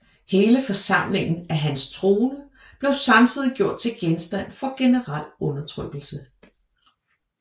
Hele forsamlingen af hans troende blev samtidig gjort til genstand for generel undertrykkelse